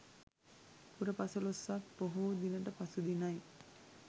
පුර පසළොස්වක් පොහෝ දිනට පසු දිනයි.